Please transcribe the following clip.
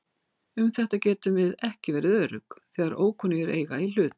Um þetta getum við ekki verið örugg þegar ókunnugir eiga í hlut.